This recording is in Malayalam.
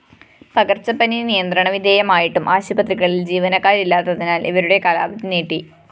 പകര്‍ച്ചപ്പനി നിയന്ത്രണ വിധേയമായിട്ടും ആശുപത്രികളില്‍ ജീവനക്കാരില്ലാത്തതിനാല്‍ ഇവരുടെ കാലാവധി നീട്ടി